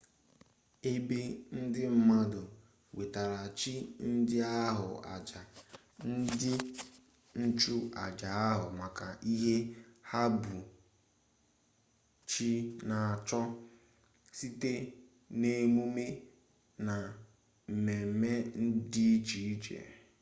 ebe ndị mmadụ wetaara chi ndị ahụ aja ndị nchụ aja ahụ maka ihe ha bụ chi na-achọ site n'emume na mmemme di iche iche